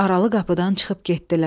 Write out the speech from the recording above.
Aralı qapıdan çıxıb getdilər.